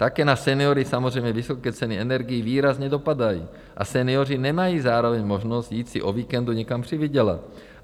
Také na seniory samozřejmě vysoké ceny energií výrazně dopadají a senioři nemají zároveň možnost jít si o víkendu někam přivydělat.